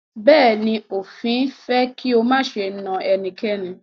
Bẹ̀ẹ́ni, òfin fẹ́ kí o máṣe na ẹnikẹ́ni.